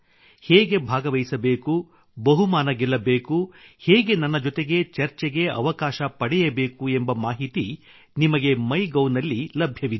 ಹೇಗೆ ಭಾಗವಹಿಸಬೇಕು ಬಹುಮಾನ ಗೆಲ್ಲಬೇಕು ಹೇಗೆ ನನ್ನ ಜೊತೆಗೆ ಚರ್ಚೆಗೆ ಅವಕಾಶ ಪಡೆಯಬೇಕು ಎಂಬ ಮಾಹಿತಿ ನಿಮಗೆ ಮೈ ಗೌ ನಲ್ಲಿ ಲಭ್ಯವಿದೆ